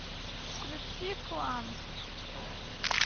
включи кланк